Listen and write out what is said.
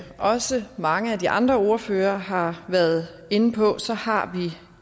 også mange af de andre ordførere har været inde på har